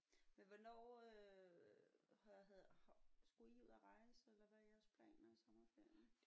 Men hvornår øh har havde skulle I ud at rejse eller hvad er jeres planer i sommerferien?